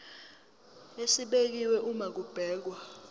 esibekiwe uma kubhekwa